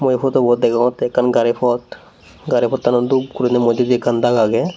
mui ye pudu bot degongoty ekkan gari pot gari potanot dup guri modedi ekkan dag agge.